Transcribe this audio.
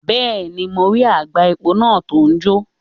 Bẹ́ẹ̀ni, mo rí àgbá epo náà tó ń jò.